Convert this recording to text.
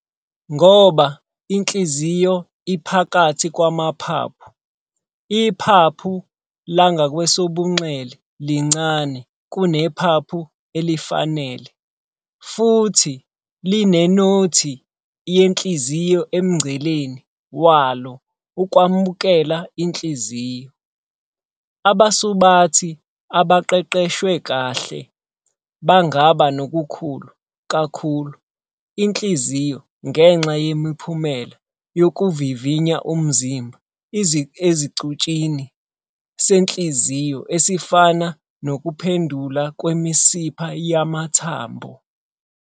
Ngoba inhliziyo iphakathi kwamaphaphu, iphaphu langakwesobunxele lincane kunephaphu elifanele futhi linenothi yenhliziyo emngceleni walo ukwamukela inhliziyo. Abasubathi abaqeqeshwe kahle bangaba nokukhulu kakhulu izinhliziyo ngenxa yemiphumela yokuvivinya umzimba esicutshini senhliziyo, esifana nokuphendula kwemisipha yamathambo.